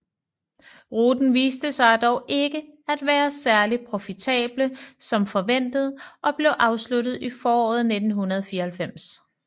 Ruten viste sig dog ikke at være særlig profitable som forventet og blev afsluttet i foråret 1994